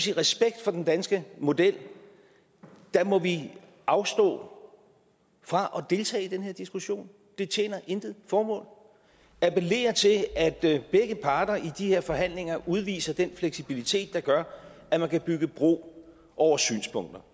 i respekt for den danske model må vi afstå fra at deltage i den her diskussion det tjener intet formål og appellere til at begge parter i de her forhandlinger udviser den fleksibilitet der gør at man kan bygge bro over synspunkter